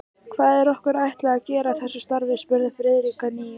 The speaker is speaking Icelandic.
Hvað er okkur ætlað að gera í þessu starfi? spurði Friðrik að nýju.